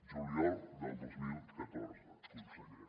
juliol del dos mil catorze conseller